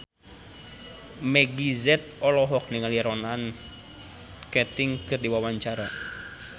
Meggie Z olohok ningali Ronan Keating keur diwawancara